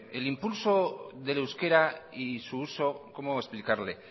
el impulso del euskera y su uso cómo explicarle